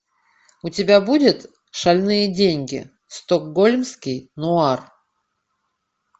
у тебя будет шальные деньги стокгольмский нуар